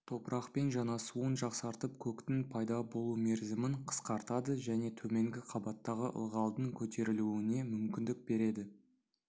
топырақпен жанасуын жақсартып көктің пайда болу мерзімін қысқартады және төменгі қабаттағы ылғалдың көтерілуіне мүмкіндік береді